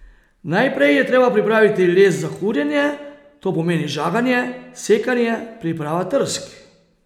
Najprej je treba pripraviti les za kurjenje, to pomeni žaganje, sekanje, priprava trsk.